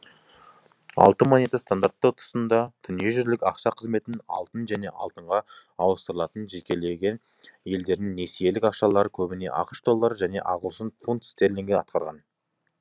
алтын монета стандарты тұсында дүниежүзілік ақша қызметін алтын және алтынға ауыстырылатын жекелеген елдердің несиелік ақшалары көбіне ақш доллары және ағылшын фунт стерлингі аткарған